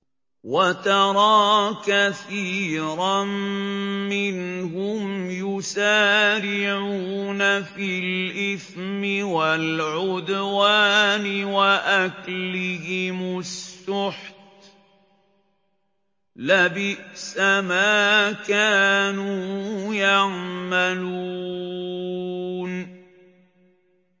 وَتَرَىٰ كَثِيرًا مِّنْهُمْ يُسَارِعُونَ فِي الْإِثْمِ وَالْعُدْوَانِ وَأَكْلِهِمُ السُّحْتَ ۚ لَبِئْسَ مَا كَانُوا يَعْمَلُونَ